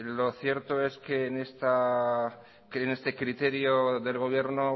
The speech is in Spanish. lo cierto es que en este criterio del gobierno